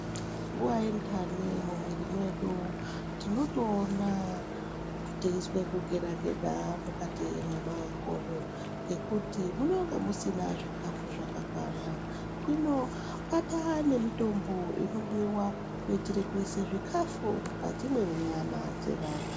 Nguva yendani mumwiri mwedu tinotoona teizwe kugeda-geda mukati mwemwakodo. Ngekuti munonga musina zvikafu zvakakwana. Inobata nemutombo inomwiwa kuitire kuise zvikafu mukati mwenyama dzevantu.